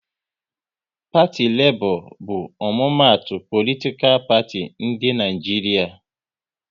Parti Lebo bu omumatu politikal parti di n'Naijiria